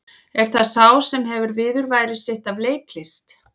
Er það sá sem hefur viðurværi sitt af leiklist?